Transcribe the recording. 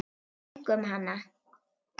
Einkum hana.